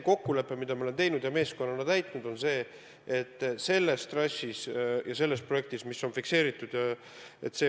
Kokkulepe, mille me oleme teinud ja meeskonnana täitnud, on, et tagada fikseeritud projekti elluviimine.